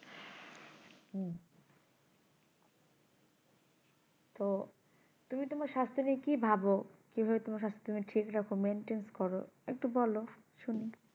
তো তুমি তোমার স্বাস্থ নিয়ে কি ভাবো কি ভাবে তুমি তোমার স্বাস্থ ঠিক রাখো maintain করো একটু বলো শুনি